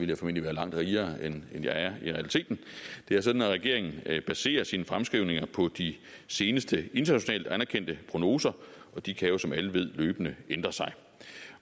jeg formentlig være langt rigere end jeg er i realiteten det er sådan at regeringen baserer sine fremskrivninger på de seneste internationalt anerkendte prognoser og de kan jo som alle ved løbende ændre sig